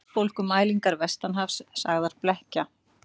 Verðbólgumælingar vestanhafs sagðar blekkja